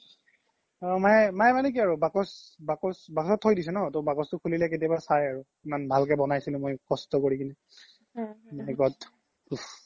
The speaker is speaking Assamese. মাইয়ে মানে কি আৰু বাকচত থই দিছে ন তো বাকচ তো খুলিলে কেতিয়াবা চাই আৰু ইমান ভালকে বনাইছিলো মই কস্ত কৰি কিনে my god